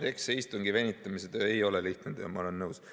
Jah, see istungi venitamise töö ei ole lihtne töö, ma olen nõus.